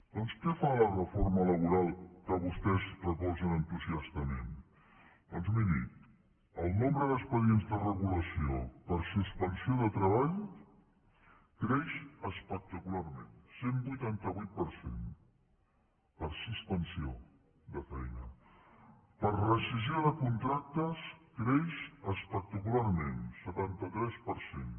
doncs què fa la reforma laboral que vostès recolzen entusiastament doncs miri el nombre d’expedients de regulació per suspensió de treball creix espectacularment cent i vuitanta vuit per cent per suspensió de feina per rescissió de contractes creix espectacularment setanta tres per cent